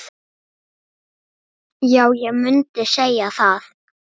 Já, ég mundi segja það.